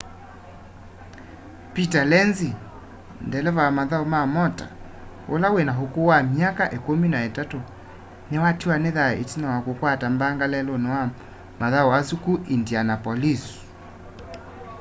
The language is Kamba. peter lenz ndeleva wa mathau ma mota na ula wina ukuu wa myaka 13 niwatiwa ni thayu itina wa kukwata mbanga leluni wa mathau asu ku indianapolis